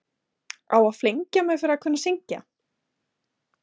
Á að flengja mig fyrir að kunna að syngja?